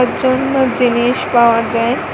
চুন্দর জিনিস পাওয়া যায়।